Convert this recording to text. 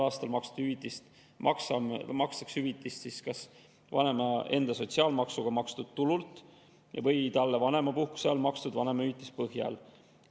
Järgneval aastal makstakse hüvitist kas vanema enda sotsiaalmaksuga makstud tulu või talle vanemapuhkuse ajal makstud vanemahüvitise põhjal.